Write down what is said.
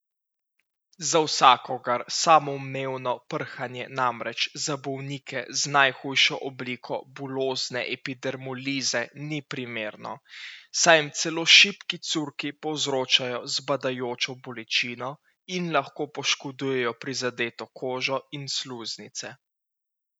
Za vsakogar samoumevno prhanje namreč za bolnike z najhujšo obliko bulozne epidermolize ni primerno, saj jim celo šibki curki povzročajo zbadajočo bolečino in lahko poškodujejo prizadeto kožo in sluznice.